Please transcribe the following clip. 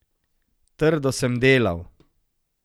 Trdo sem delal.